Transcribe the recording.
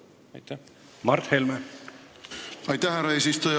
Aitäh, härra eesistuja!